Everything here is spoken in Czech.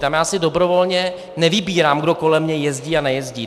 Tam já si dobrovolně nevybírám, kdo kolem mě jezdí a nejezdí.